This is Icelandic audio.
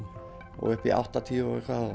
og upp í áttatíu